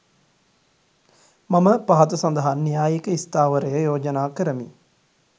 මම පහත සඳහන් න්‍යායික ස්ථාවරය යෝජනා කරමි